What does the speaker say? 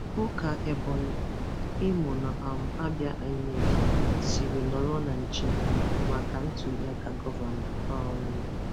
Hụ ka Ebonyi, Imo na um Abia Inec siri nọrọ na nche maka ntuliaka gọvanọ. um